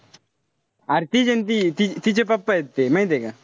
अरे तीचे ना ती. तिचे papa ए ते. माहितीये का?